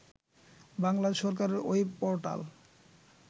বাংলাদেশ সরকারের web portal